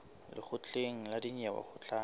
lekgotleng la dinyewe ho tla